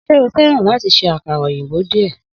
Sé o feran láti ṣe àkàrà òyìnbó díè?